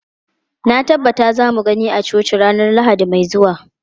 Na tabbata za mu gani a coci ranar Lahadi mai zuwa.